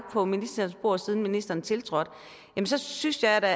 på ministerens bord siden ministeren tiltrådte så synes jeg da